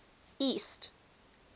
east